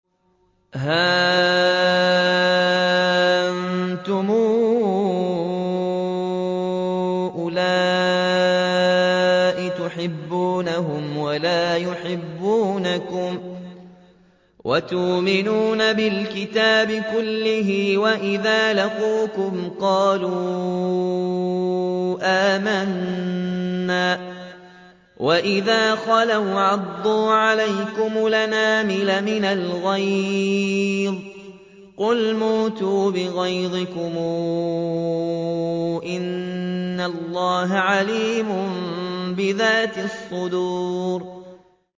هَا أَنتُمْ أُولَاءِ تُحِبُّونَهُمْ وَلَا يُحِبُّونَكُمْ وَتُؤْمِنُونَ بِالْكِتَابِ كُلِّهِ وَإِذَا لَقُوكُمْ قَالُوا آمَنَّا وَإِذَا خَلَوْا عَضُّوا عَلَيْكُمُ الْأَنَامِلَ مِنَ الْغَيْظِ ۚ قُلْ مُوتُوا بِغَيْظِكُمْ ۗ إِنَّ اللَّهَ عَلِيمٌ بِذَاتِ الصُّدُورِ